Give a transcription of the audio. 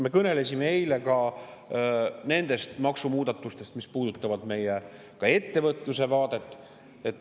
Me kõnelesime eile ka nendest maksumuudatustest, mis puudutavad meie ettevõtluse vaadet.